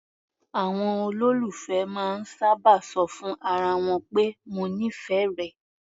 Àwọn olólùfẹ́ máa ń sábà ṣọ fún ara wọn pé "mo nífẹ̀ẹ́ rẹ".